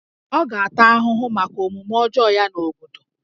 Ọ ga-ata ahụhụ maka omume ọjọọ ya n'obodo